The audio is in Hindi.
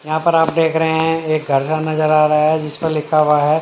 यहां पर आप देख रहे हैं एक कर नजर आ रहा हैजिस पर लिखा हुआ है।